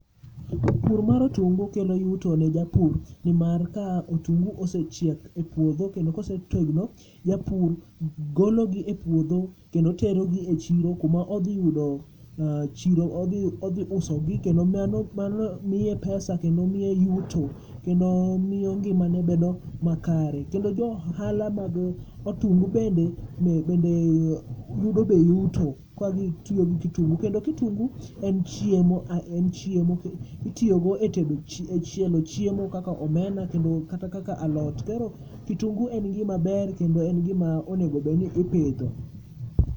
Pur mar otungu kelo yuto ne japur nimar ka otungu osechiek e puodho kendo kosetegno, japur gologi e puodho kendo terogi e chiro kuma odhi yudo chiro. Odhi usogi kendo mano, mano miye pesa kendo miye yuto kendo miyo ngimane bedo makare. Kendo jo ohala mag otungu bende, bende yudo be yuto ka gitiyo gi kitungu. Kendo kutungu en chiemo, a en chiemo, itiyogo e tedo chiemo kaka omena klata kaka alot. Koro kitungu en gima ber kendo en gima onegobedni ipidho.